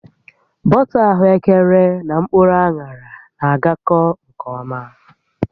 Bọta ahụekere na mkpụrụ aṅarana-aga nke ọma